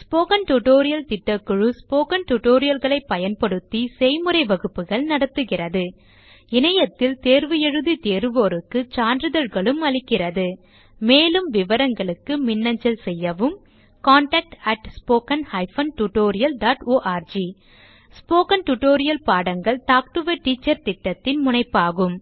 spoken tutorial திட்டக்குழு spoken tutorial களைப் பயன்படுத்தி செய்முறை வகுப்புகள் நடத்துகிறது இணையத்தில் தேர்வு எழுதி தேர்வோருக்கு சான்றிதழ்களும் அளிக்கிறது மேலும் விவரங்களுக்கு மின்னஞ்சல் செய்யவும் contactspoken tutorialorg ஸ்போகன் டுடோரியல் பாடங்கள் டாக் டு எ டீச்சர் திட்டத்தின் முனைப்பாகும்